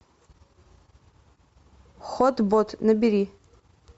хот бот набери